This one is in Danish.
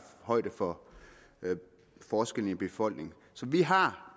højde for forskellene i befolkningen så vi har